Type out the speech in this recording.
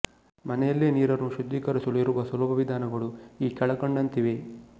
ಮನೆಯಲ್ಲೆ ನೀರನ್ನು ಶುದ್ಧೀಕರಿಸಲು ಇರುವ ಸುಲಭ ವಿಧಾನಗಳು ಈ ಕೆಳಕಂಡಂತಿವೆ